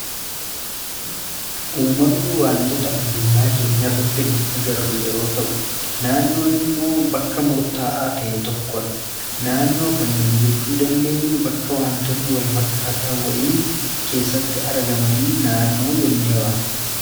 uumamni waantoota addunyaa keenya irratti nu agarru yeroo ta'u naannoon immoo bakka murta'aa ta'e tokkoodha naannoo kan jechuu dandeenyu bakka wantoonni wal fakkaataa wayii keessatti argamanii naannoo jennee waamna.